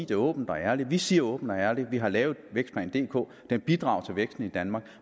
det åbent og ærligt vi siger åbent og ærligt at vi har lavet vækstplan dk der bidrager til væksten i danmark